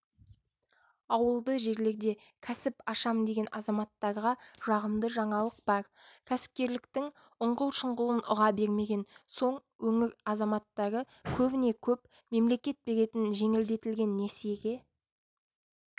ауылды жерлерде кәсіп ашам деген азаматтарға жағымды жаңалық бар кәсіпкерліктің ұңғыл-шұңғылын ұға бермеген соң өңір азаматтары көбіне-көп мемлекет беретін жеңілдетілген несиеге